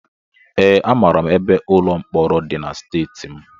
Ee, amara m ebe ụlọ mkpọrọ dị na steeti m